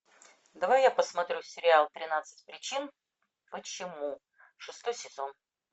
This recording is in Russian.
давай я посмотрю сериал тринадцать причин почему шестой сезон